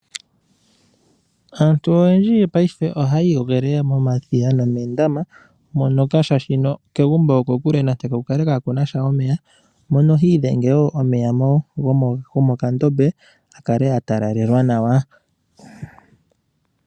Aantu oyendji yopayife oha yiiyogele momadhiya noomondama monoka shaashino kegumbo okokule nenge kukale kakunasha omeya. Mono hiidhenge woo omeya gomo kandobe akale atalalelwa nawa.